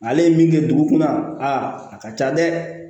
Ale ye min kɛ dugu kɔnɔ a ka ca dɛ